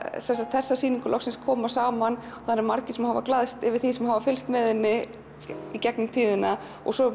þessa sýningu loksins koma saman það eru margir sem hafa glaðst yfir því sem hafa fylgst með henni í gegnum tíðina og svo